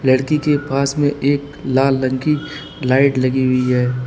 लड़की के पास में एक लाल रंग की लाइट लगी हुई है।